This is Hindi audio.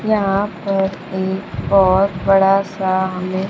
यहां पर भी बहुत बड़ा सा हमें।